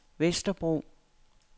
Vesterbro